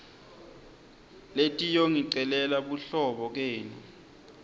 letiyongicelela buhlobo kenu